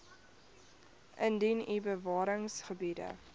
indien u bewaringsgebiede